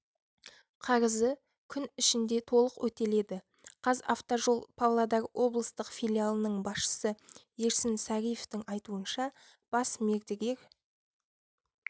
қарызы күн ішінде толық өтеледі қазавтожол павлодар облыстық филиалының басшысы ерсін сариевтың айтуынша бас мердігер